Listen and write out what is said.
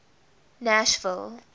nashville